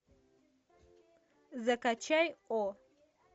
закачай о